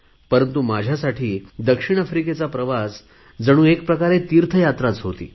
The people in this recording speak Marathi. परंतु माझ्यासाठी दक्षिण आफ्रिकेचा प्रवास जणू एक प्रकारे तीर्थयात्राच होती